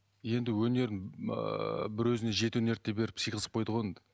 енді өнерін ыыы бір өзіне жеті өнерді де беріп сыйғызып қойды ғой енді